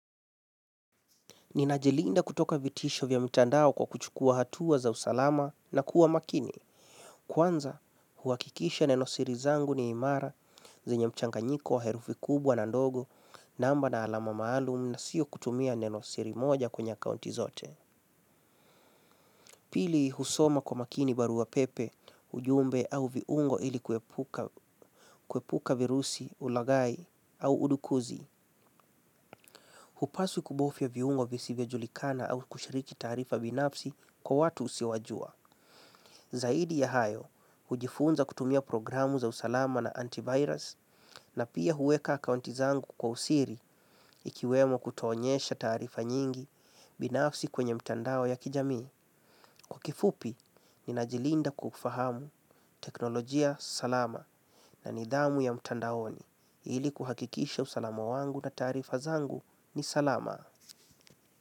Nina jilinda kutoka vitisho vya mitandao kwa kuchukua hatua za usalama na kuwa makini. Kwanza, huhakikisha neno siri zangu ni imara zenye mchanganyiko wa herufi kubwa na ndogo namba na alama maalum na sio kutumia neno siri moja kwenye kaunti zote. Pili, husoma kwa makini barua pepe, ujumbe au viungo ili kuepuka virusi ulaghai au udukuzi. Hupaswi kubofia viungo visivyo julikana au kushiriki taarifa binafsi kwa watu usiowajua. Zaidi ya hayo, hujifunza kutumia program za usalama na antivirus na pia huweka akaunti zangu kwa usiri ikiwemo kutoonyesha taarifa nyingi binafsi kwenye mitandao ya kijamii. Kwa kifupi, nina jilinda kufahamu teknolojia salama na nidhamu ya mtandaoni ili kuhakikisha usalama wangu na tarifa zangu ni salama.